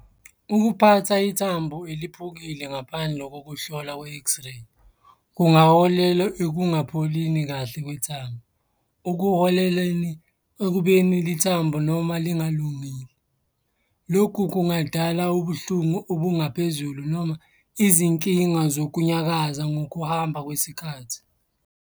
Ukuphatha ithambo eliphukile ngaphandle kokuhlolwa kwe-X-ray, kungaholela ekungapholini kahle kwethambo. Ekuholeleni ekubeni lithambo noma lingalungile. Lokhu kungadala ubuhlungu obungaphezulu noma izinkinga zokunyakaza ngokuhamba kwesikhathi.